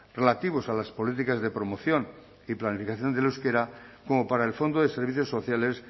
relativos a las políticas de promoción y planificación del euskera como para el fondo de servicios sociales